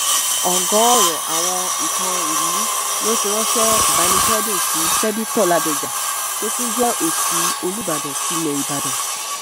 ọ̀gọ́ọ̀rọ̀ àwọn ẹẹkan ìlú ló ti ránṣẹ ìbánikẹdùn sí sébéto ládọjà tó tún jẹ òṣì olùbàdàn tilé ìbàdàn